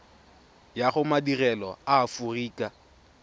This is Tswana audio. ya go madirelo a aforika